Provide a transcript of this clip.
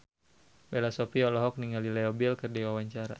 Bella Shofie olohok ningali Leo Bill keur diwawancara